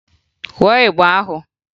Kụọ ịgba ahụ!